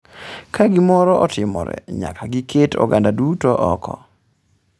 “Ka gimoro otimore, nyaka giket oganda duto oko.”